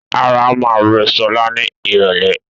Ara máa rò sọlá ni irọ̀lẹ́